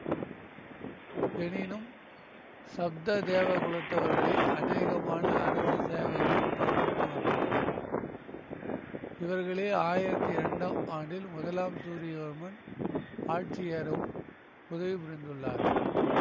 எனினும் சப்ததேவகுலத்தவர்களே அநேகமான அரச சேவைகளைக் கவனித்து வந்துள்ளனர் இவர்களே ஆயிரத்தி இரண்டாம் ஆண்டில் முதலாம் சூரியவர்மன் ஆட்சியேறவும் உதவி புரிந்துள்ளார்கள்